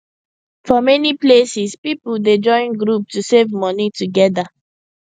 for many places people dey join group to save money together